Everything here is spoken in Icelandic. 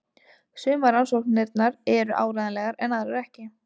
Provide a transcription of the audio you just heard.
Sumar rannsóknirnar eru áreiðanlegar en aðrar ekki.